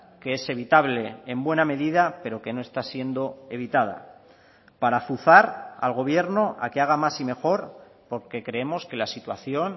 que es evitable en buena medida pero que no está siendo evitada para azuzar al gobierno a que haga más y mejor porque creemos que la situación